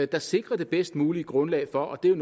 der sikrer det bedst mulige grundlag for og det er